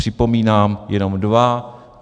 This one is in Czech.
Připomínám jenom dva.